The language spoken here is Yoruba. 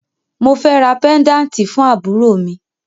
Mo fẹ́ ra pẹ́ńdáǹtì fún àbúrò mi